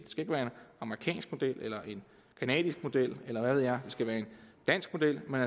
amerikansk model eller en canadisk model eller hvad ved jeg skal være en dansk model men